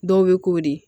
Dɔw bɛ k'o de